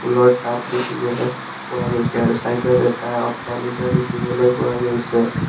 ফুলৰ টাব দেখিবলৈ পোৱা গৈছে আৰু ছাইডত এটা অট্টালিকা দেখিবলৈ পোৱা গৈছে।